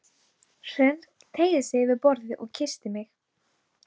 Hrönn teygði sig yfir borðið og kyssti mig.